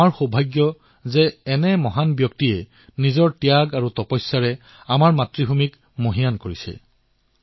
আমাৰেই সৌভাগ্য যে এনে মহান বিভূতিয়ে আমাৰ ধৰিত্ৰীক নিজৰ তপস্যা আৰু ত্যাগেৰে সিঞ্চন কৰিছে